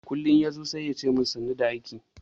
Kullin yazo sai yace min sannu da aiki.